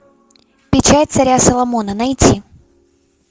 печать царя соломона найти